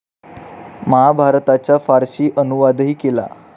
महाभारताचा फारसी अनुवादही केला.